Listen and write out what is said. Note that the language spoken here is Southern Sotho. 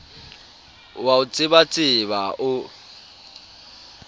o a o tsebatseba o